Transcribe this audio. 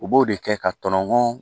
U b'o de kɛ ka tɔnɔ